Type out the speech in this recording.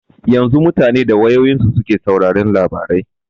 Yanzu mutane da wayoyinsu suke sauraron labarai.